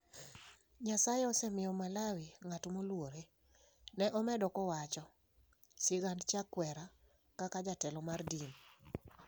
Nyasaye osemiyo Malawi ng'at moluore, ne omedo kawacho sigand Chakwera kaka jatelo mar din.